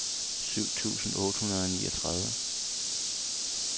syv tusind otte hundrede og niogtredive